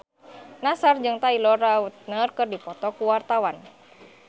Nassar jeung Taylor Lautner keur dipoto ku wartawan